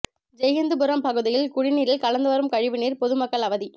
ஜெய்ஹிந்துபுரம் பகுதியில் குடிநீரில் கலந்து வரும் கழிவு நீா் பொதுமக்கள் அவதி